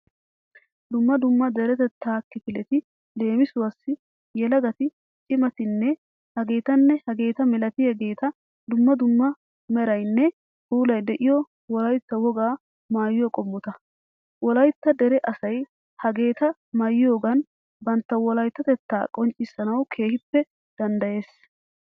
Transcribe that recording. Dumma dumma deretetta kifileti leemisuwassi: yelagati, cimatinne hagetanne hageta milatiyageeta dumma dumma meraynne puulay de'iyo Wolaytta woga maayuwa qommota. Wolaytta dere asay hageta maayiyogan bantta wolayttatetta qonccissanawu keehippe danddayees.